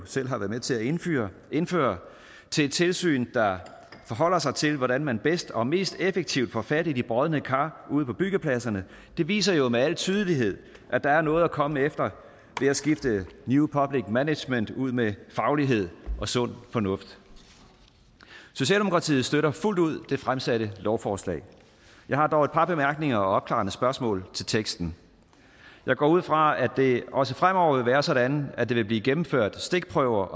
selv har været med til at indføre indføre til et tilsyn der forholder sig til hvordan man bedst og mest effektivt får fat i de brodne kar ude på byggepladserne viser jo med al tydelighed at der er noget at komme efter ved at skifte new public management ud med faglighed og sund fornuft socialdemokratiet støtter fuldt ud det fremsatte lovforslag jeg har dog et par bemærkninger og opklarende spørgsmål til teksten jeg går ud fra at det også fremover vil være sådan at der vil blive gennemført stikprøver